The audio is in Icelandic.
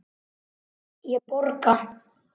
Ég borga.